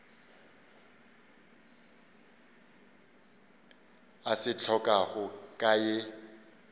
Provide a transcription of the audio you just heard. a se hlokago ka ye